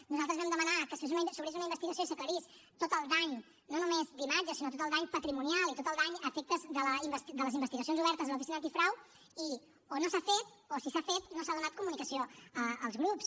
nosaltres vam demanar que s’obrís una investigació i s’aclarís tot el dany no només d’imatge sinó tot el dany patrimonial i tot el dany a efectes de les investigacions obertes a l’oficina antifrau i o no s’ha fet o si s’ha fet no s’ha donat comunicació als grups